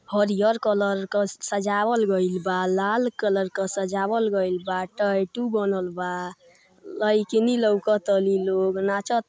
हरियर कलर क सजावल गईल बा लाल कलर क सजावल गईल बा टैटू बनल बा। लइकिनी लउकतानी लोग नाचत--